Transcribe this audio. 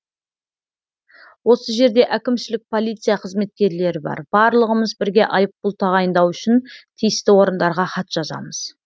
осы жерде әкімшілік полиция қызметкерлері бар барлығымыз бірге айыппұл тағайындау үшін тиісті орындарға хат жазамыз